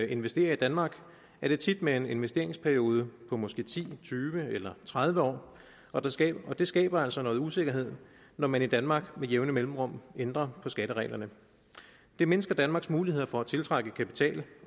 investerer i danmark er det tit med en investeringsperiode på måske ti tyve eller tredive år og det skaber det skaber altså noget usikkerhed når man i danmark med jævne mellemrum ændrer på skattereglerne det mindsker danmarks muligheder for at tiltrække kapital